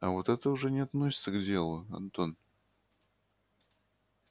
а вот это уже не относится к делу антон